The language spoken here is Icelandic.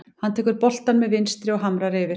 Hann tekur boltann með vinstri og hamrar yfir.